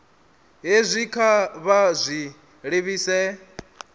hezwi kha vha zwi livhise